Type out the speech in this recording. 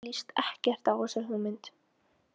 Mér líst ekkert á þessa hugmynd.